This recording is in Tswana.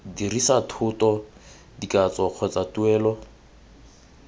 dirisa thoto dikatso kgotsa tuelo